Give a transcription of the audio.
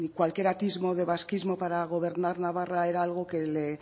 cualquier atisbo de vasquismo para gobernar navarra era algo que le